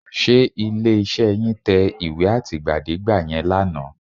Ṣé ilé-iṣẹ́ yín tẹ ìwé àtìgbàdégbà yẹn lánàá?